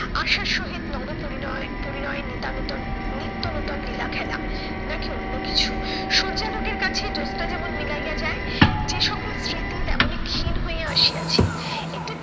আশার সহিত নব পরিণয় পরিণয় নিতামিতং নিত্যনূতন লীলাখেলা। নাকি অন্য কিছু? সূর্যালোকের কাছে জোৎস্না যেমন মিলাইয়া যায় যে সকল স্মৃতি তেমনি ক্ষীণ হইয়া আসিয়াছে একটু